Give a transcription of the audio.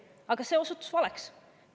Aga see osutus valeks.